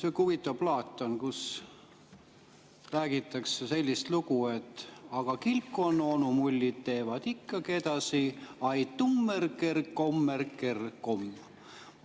Sihuke huvitav plaat on, kus räägitakse sellist lugu: aga kilpkonnaonu mullid tegid ikka ai-tummeri-ker-kommeri-ker.